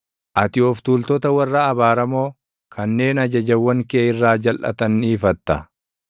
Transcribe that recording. Ati of tuultota warra abaaramoo, kanneen ajajawwan kee irraa jalʼatan ni ifatta.